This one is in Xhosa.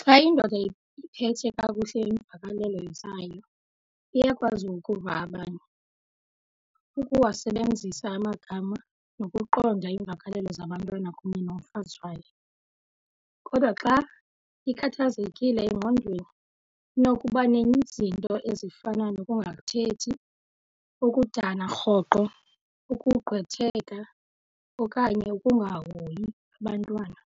Xa indoda iphethe kakuhle iimvakalelo zayo iyakwazi ukuva abanye, ukuwasebenzisa amagama nokuqonda iimvakalelo zabantwana kunye nomfazi wayo. Kodwa xa ikhathazekile engqondweni, inokuba nezinto ezifana nokungathethi, ukudana rhoqo, ukugqwetheka okanye ukungahoyi abantwana.